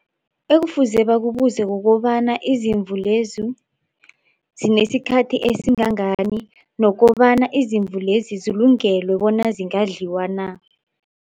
Ekufuze bakubuze kukobana izimvu lezi zinesikhathi esingangani nokobana izimvu lezi zilungelwe bona zingadliwa na.